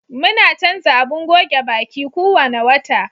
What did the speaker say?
Muna canza abin goge baƙi kuwanna wata.